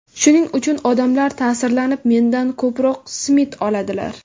Shuning uchun odamlar ta’sirlanib, mendan ko‘proq simit oladilar.